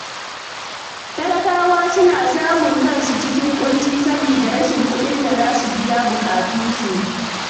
Talakawa suna samun kansu a cikin ƙunci saboda rashin kuɗin da za su biya buƙatu.